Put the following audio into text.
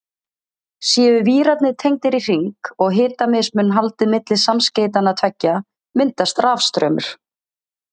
Séu vírarnir tengdir í hring og hitamismun haldið milli samskeytanna tveggja myndast rafstraumur.